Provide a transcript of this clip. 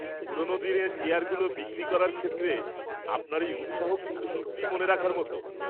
পুরনো দিনের চেয়ারগুলো বিক্রি করার ক্ষেত্রে আপনার এই উৎসাহ কিন্তু সত্যিই মনে রাখার মতো!